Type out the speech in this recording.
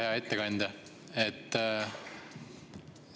Hea ettekandja!